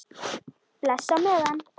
Bless á meðan.